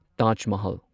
Taj Mahal